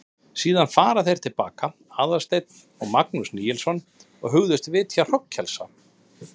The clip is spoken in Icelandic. Síðan fara þeir til baka, Aðalsteinn og Magnús Níelsson, og hugðust vitja hrognkelsa.